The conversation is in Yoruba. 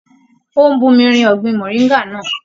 Ó ń bumi rin ọgbin moringa náà.